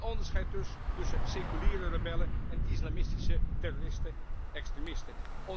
Geen onderscheid dus tussen 'seculiere rebellen' en islamistische terroristen extremisten!